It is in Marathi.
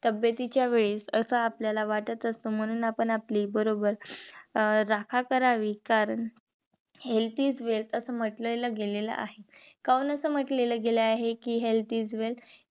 तब्ब्यतिच्या वेळीच अस आपल्याला वाटत असत, म्हणून आपण आपली बरोबर अं राखा करावी कारण health is wealth अस म्हंटल गेलं आहे. कावून अस म्हंटलेले गेले आहे कि health is wealth